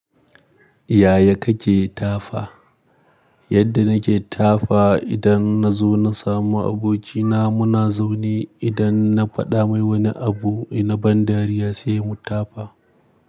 Yaya kake tafa? Yadda nake tafa idan na zo na samu abokina muna zaune. Idan na faɗa mai wani abu na ban dariya sai mu tafa.